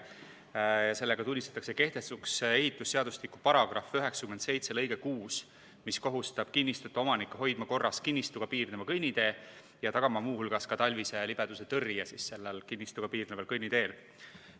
Selle eesmärk on tunnistada kehtetuks ehitusseadustiku § 97 lõige 6, mis kohustab kinnistute omanikke hoidma korras kinnistuga piirneva kõnnitee ja tagama muu hulgas ka talvise libedusetõrje sellel kinnistuga piirneval kõnniteel.